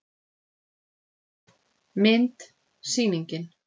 Mynd: Sýningin.